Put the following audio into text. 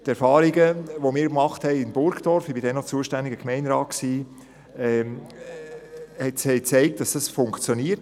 Die Erfahrungen, die wir in Burgdorf gemacht haben, haben gezeigt, dass es funktioniert.